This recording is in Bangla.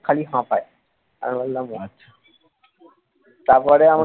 খালি হাপায়, আমি বললাম ও আচ্ছা তারপরে আমাকে